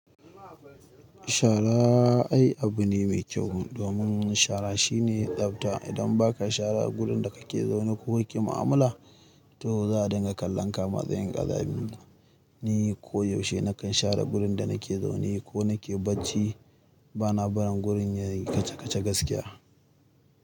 Shara ai abu ne mai kyau. Domin shara shine tsabta. Idan ba ka shara gurin da ka ke zaune ko ki ma'amala, to za a dinga kallon ka matsayin ƙazami. Ni koyaushe na kan share wurin da na ke zaune ko na ke bacci. Ba na barin gurin yayi kaca-kaca gaskiya.